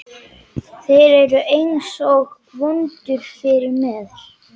Þeir eru einsog vöndur yfir mér.